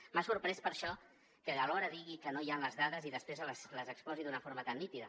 m’ha sorprès per això que alhora digui que no hi han les dades i després les exposi d’una forma tan nítida